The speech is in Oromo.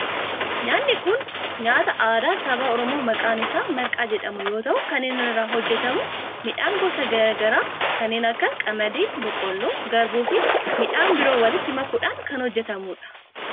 Nyaanni kun nyaataa aadaa saba oromoo maqaan isaa marqaa jedhamu yoo ta'u kan inni irraa hojjetamu midhaan gosa garaa garaa kanneen akka qamadii, boqqoolloo, garbuu fi midhaan biroo walitti makuudhan kan hojjetamudha.